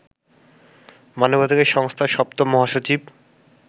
মানবাধিকার সংস্থার ৭ম মহাসচিব